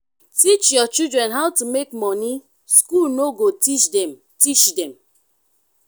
teach your children how to make money school no go teach them teach them